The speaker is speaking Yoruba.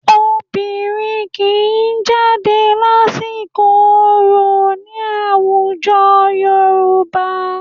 Obìnrin kì í jáde lásìkò orò ní àwùjo Yorùbá